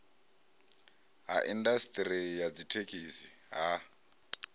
ha indasiṱeri ya dzithekhisi ha